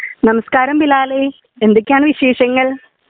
നമസ്കാരം ബിലാലെ എന്തെക്കെയാണ് വിശേഷങ്ങൾ